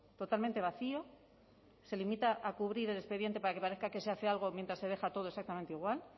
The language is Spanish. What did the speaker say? totalmente vacío se limita a cubrir el expediente para que parezca que se hace algo mientras se deja todo exactamente igual